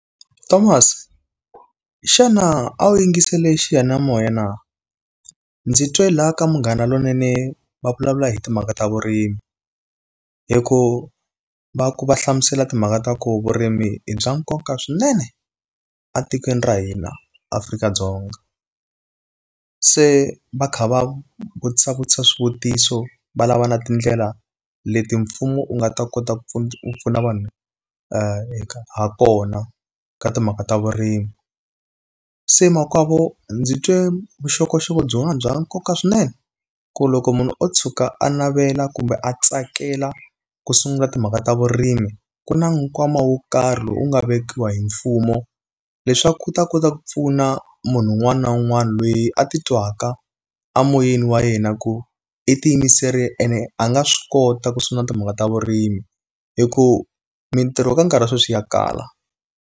Thomas, xana a wu yingisele xiyanimoya na? Ndzi twe laha ka Munghana Lonene va vulavula hi timhaka ta vurimi. Hi ku va ku va hlamusela timhaka ta ku vurimi bya nkoka swinene a tikweni ra hina Afrika-Dzonga. Se va kha va vutisa vutisa swivutiso, va lava na tindlela leti mfumo wu nga ta kota ku ku pfuna vanhu ha kona ka timhaka ta vurimi. Se makwavo, ndzi twe vuxokoxoko byin'wana bya nkoka swinene. Ku loko munhu u tshuka a navela kumbe a tsakela ku sungula timhaka ta vurimi, ku na nkwama wo karhi lowu u nga vekiwa hi mfumo, leswaku ku ta kota ku pfuna munhu un'wana na un'wana loyi a ti twaka emoyeni wa yena ku i tiyimiserile ene a nga swi kota ku sungula timhaka ta vurimi. Hi ku mintirho ka nkarhi sweswi ya kala.